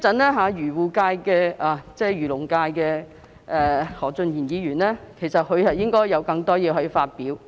我相信稍後漁農界的何俊賢議員應該有更多意見發表。